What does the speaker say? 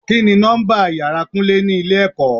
Kini nọ́mbà ìyára Kúnlé ni ilé ẹ̀kọ́?